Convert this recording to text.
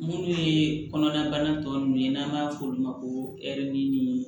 Munnu ye kɔnɔnabana tɔ nunnu ye n'an b'a f'olu ma ko ɛri ni